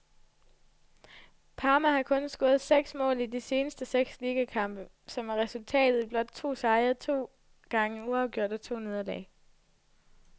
Parma har kun scoret seks mål i de seneste seks ligakampe, som er resulteret i blot to sejre, to gange uafgjort og to nederlag.